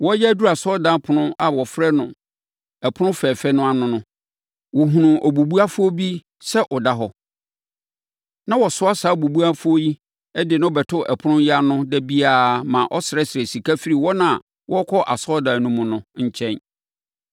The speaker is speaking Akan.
Wɔreyɛ aduru asɔredan ɛpono a wɔfrɛ no Ɛpono Fɛɛfɛ ano no, wɔhunuu obubuafoɔ bi sɛ ɔda hɔ. Na wɔsoa saa obubuafoɔ yi de no bɛto ɛpono yi ano da biara ma ɔsrɛsrɛ sika firi wɔn a wɔrekɔ asɔredan no mu no nkyɛn.